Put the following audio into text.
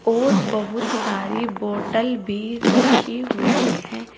और बहुत सारी बॉटल भी रखी हुई है।